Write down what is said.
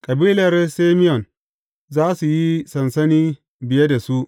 Kabilar Simeyon za su yi sansani biye da su.